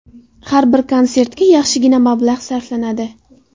Har bir konsertga yaxshigina mablag‘ sarflanadi.